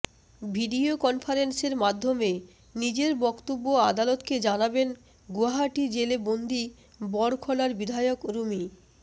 video কনফারেন্সের মাধ্যমে নিজের বক্তব্য আদালতকে জানাবেন গুয়াহাটি জেলে বন্দি বড়খলার বিধায়ক রুমি